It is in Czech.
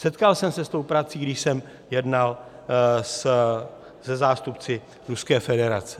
Setkal jsem se s tou prací, když jsem jednal se zástupci Ruské federace.